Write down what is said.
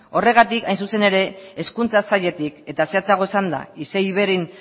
horregatik hain zuzen ere hezkuntza sailetik eta zehatzagoa esanda isei iveiren